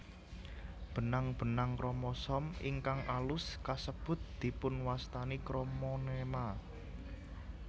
Benang benang kromosom ingkang alus kasebut dipunwastani kromonema